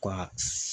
Ka